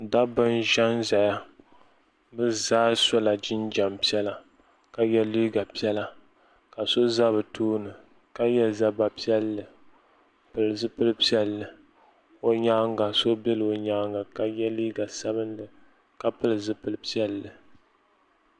Dabba n za n zaya bi zaa so la jinjam piɛlla ka yiɛ liiga piɛlla ka so za bi tooni ka yiɛ zabba piɛlli n pili zupili piɛlli o yɛanga so bɛla o yɛanga ka yiɛ liiga sabinli ka pili zupili piɛlli.